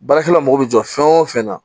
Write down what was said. Baarakɛla mago bɛ jɔ fɛn o fɛn na